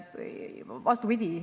Vastupidi.